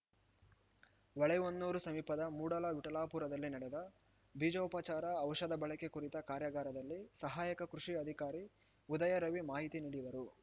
ಹೊಳೆಹೊನ್ನೂರು ಸಮೀಪದ ಮೂಡಲವಿಠಲಾಪುರದಲ್ಲಿ ನಡೆದ ಬೀಜೋಪಚಾರ ಔಷಧ ಬಳಕೆ ಕುರಿತ ಕಾರ್ಯಾಗಾರದಲ್ಲಿ ಸಹಾಯಕ ಕೃಷಿ ಅಧಿಕಾರಿ ಉದಯರವಿ ಮಾಹಿತಿ ನೀಡಿದರು